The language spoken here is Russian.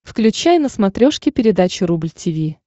включай на смотрешке передачу рубль ти ви